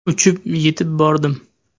Uchib yetib bordim.